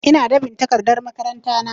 Ina dab'in takardar makaranta na